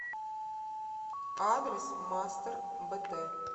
адрес мастер бт